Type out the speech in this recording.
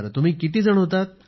तुम्ही किती जण होतात